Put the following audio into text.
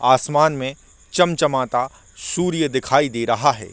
आसमान में चमचमाता सूर्य दिखाई दे रहा है।